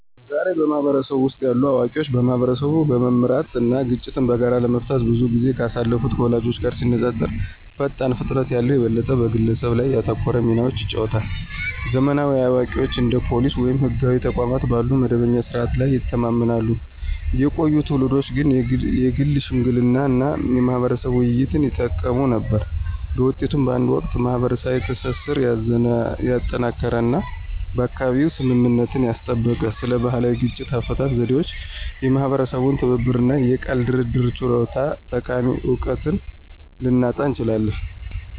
ዛሬ፣ በህብረተሰቡ ውስጥ ያሉ አዋቂዎች ማህበረሰቦችን በመምራት እና ግጭቶችን በጋራ ለመፍታት ብዙ ጊዜ ካሳለፉት ወላጆቻችን ጋር ሲነፃፀሩ ፈጣን ፍጥነት ያለው፣ የበለጠ በግለሰብ ላይ ያተኮረ ሚናዎችን ይጫወታሉ። ዘመናዊ አዋቂዎች እንደ ፖሊስ ወይም ህጋዊ ተቋማት ባሉ መደበኛ ስርዓቶች ላይ ይተማመናሉ፣ የቆዩ ትውልዶች ግን የግል ሽምግልና እና የማህበረሰብ ውይይቶችን ይጠቀሙ ነበር። በውጤቱም፣ በአንድ ወቅት ማህበረሰባዊ ትስስርን ያጠናከረ እና በአካባቢው ስምምነትን ያስጠበቀ ስለ ባህላዊ የግጭት አፈታት ዘዴዎች፣ የማህበረሰብ ትብብር እና የቃል ድርድር ችሎታዎች ጠቃሚ እውቀትን ልናጣ እንችላለን።